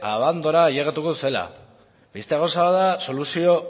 abandora ailegatuko zela beste gauza bat da soluzio